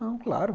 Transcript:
Não, claro.